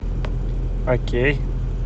окей